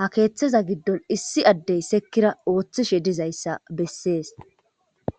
ha keeththeza giddon issi addey sekkira ooththishe dizayssa bessees